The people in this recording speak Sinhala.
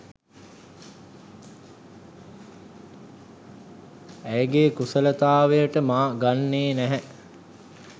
ඇයගේ කුසලතාවයට මා ගන්නේ නැහැ.